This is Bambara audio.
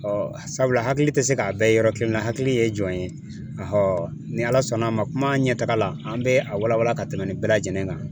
sabula hakili tɛ se k'a bɛɛ yɔrɔ kelen na hakili ye jɔn ye ni Ala sɔnn'a ma kuma ɲɛtaga la an bɛ a walawala ka tɛmɛ nin bɛɛ lajɛlen kan